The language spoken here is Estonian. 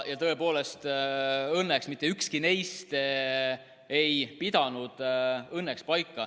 Tõepoolest, õnneks mitte ükski neist ei pidanud paika.